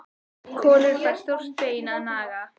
Kolur fær stórt bein að naga.